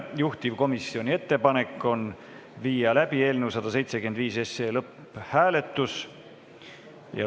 Juhtivkomisjoni ettepanek on viia läbi eelnõu 175 lõpphääletus.